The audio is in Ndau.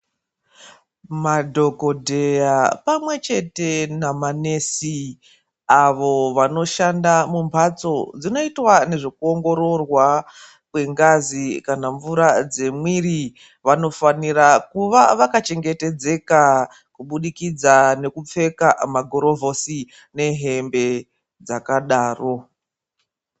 Madhokodheya pamwe chete namanesi avo vanoshanda mumbatso dzinoitwa nezvekuongororwa kwengazi kana mvura dzemwiri vanofanira kuva vakachengetedzeka kubudikidza nekupfeka magurovhusi nehembe dzakadaro.